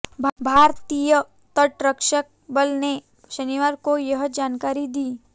भारतीय तटरक्षक बल ने शनिवार को यह जानकारी दी